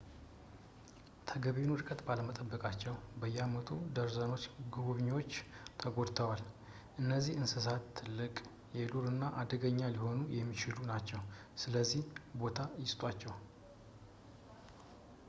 ተገቢውን እርቀት ባለመጠበቃቸው በየአመቱ ደርዘኖች ጎብኚዎች ተጎድተዋል እነዚህ እንስሳት ትልቅ የዱር እና አደገኛ ሊሆኑ የሚችሉ ናቸው ስለዚህ ቦታ ይስጧቸው